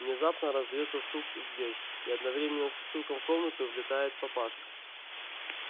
внезапно раздаётся стук в дверь и одновременно со стуком в комнату влетает папашка